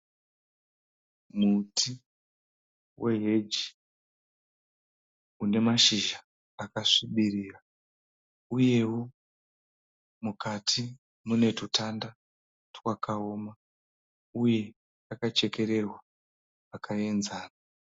Muti weheji une mashizha akasvibirira uyewo mukati mune twutanda twakaoma uye akachekererwa zvakaenzana.